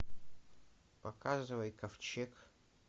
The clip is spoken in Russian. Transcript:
показывай ковчег